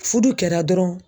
Fudu kɛra dɔrɔn